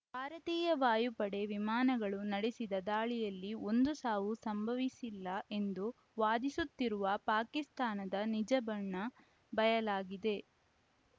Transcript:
ಭಾರತೀಯ ವಾಯುಪಡೆ ವಿಮಾನಗಳು ನಡೆಸಿದ ದಾಳಿಯಲ್ಲಿ ಒಂದು ಸಾವೂ ಸಂಭವಿಸಿಲ್ಲ ಎಂದು ವಾದಿಸುತ್ತಿರುವ ಪಾಕಿಸ್ತಾನದ ನಿಜಬಣ್ಣ ಬಯಲಾಗಿದೆ